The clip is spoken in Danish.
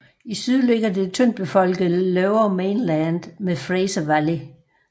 I syd ligger det tyndt befolkede Lower Mainland med Fraser Valley